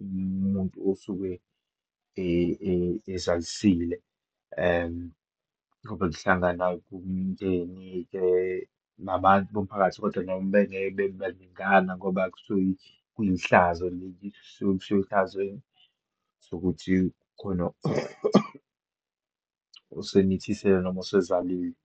umuntu osuke ezalisalile. Kobe kuhlangana umndeni-ke nabantu bomphakathi kodwa noma bengeke bebebaningana ngoba kusuke kuyihlazo leli, kusuke ehlanzweni ukuthi khona osomithisile noma osezalile.